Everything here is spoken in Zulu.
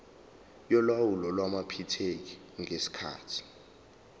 yolawulo lwamaphikethi ngesikhathi